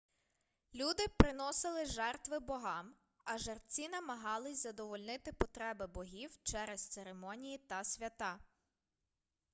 люди приносили жертви богам а жерці намагались задовольнити потреби богів через церемонії та свята